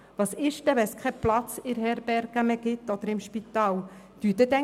Was passiert, wenn es in der Herberge oder im Spital keinen Platz mehr hat?